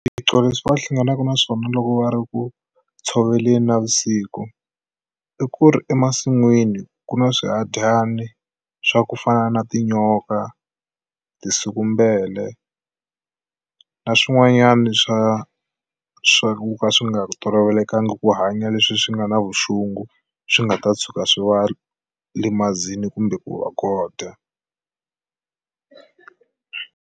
Swiphiqo leswi va hlanganaka na swona loko va ri ku tshoveleni navusiku i ku ri emasin'wini ku na swihadyani swa ku fana na tinyoka tinsikumbele na swin'wanyana swa swa ku ka swi nga tolovelekangi ku hanya leswi swi nga na vuxungu swi nga ta tshuka swi va limazini kumbe ku va godya.